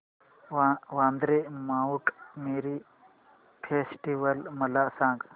Vandre Mount Mary festival मला सांग